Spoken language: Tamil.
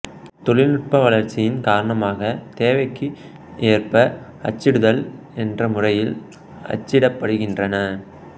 தொழில்நுட்ப வளர்ச்சியின் காரணமாக தேவைக்கு ஏற்ப அச்சிடுதல் என்ற முறையில் அச்சிடப்படுகிறன